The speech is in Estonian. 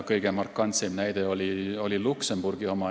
Kõige markantsem näide on Luksemburgi oma.